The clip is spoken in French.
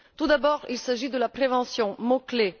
Tout d'abord, il s'agit de la prévention, mot clé.